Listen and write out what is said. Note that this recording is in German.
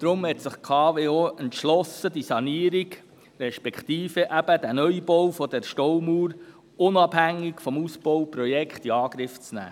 Deshalb hat sich die KWO entschlossen, die Sanierung, respektive eben den Neubau der Staumauer, unabhängig vom Ausbauprojekt in Angriff zu nehmen.